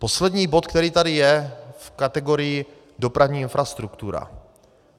Poslední bod, který tady je v kategorii dopravní infrastruktura.